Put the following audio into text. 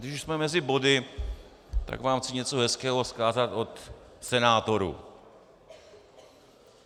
Když už jsme mezi body, tak vám chci něco hezkého vzkázat od senátorů.